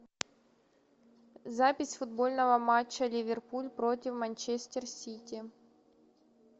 запись футбольного матча ливерпуль против манчестер сити